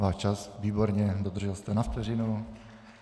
Váš čas, výborně, dodržel jste na vteřinu.